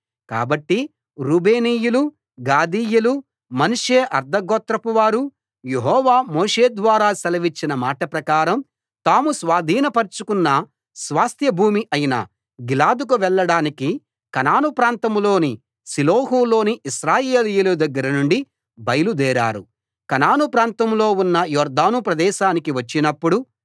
కాబట్టి రూబేనీయులు గాదీయులు మనష్షే అర్థ గోత్రపువారు యెహోవా మోషేద్వారా సెలవిచ్చిన మాట ప్రకారం తాము స్వాధీనపరచుకున్న స్వాస్థ్యభూమి అయిన గిలాదుకు వెళ్లడానికి కనాను ప్రాంతంలోని షిలోహులోని ఇశ్రాయేలీయుల దగ్గర నుండి బయలుదేరారు కనాను ప్రాంతంలో ఉన్న యొర్దాను ప్రదేశానికి వచ్చినప్పుడు